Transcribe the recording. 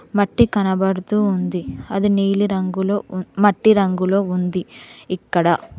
మట్టి కనబడుతూ ఉంది అది నీలి రంగులో మట్టి రంగులో ఉంది ఇక్కడ.